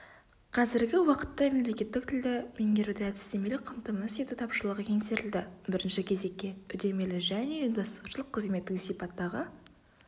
қазіргі уақытта мемлекеттік тілді меңгеруді әдістемелік қамтамасыз ету тапшылығы еңсерілді бірінші кезекке үдемелі және ұйымдастырушылық-қызметтік сипаттағы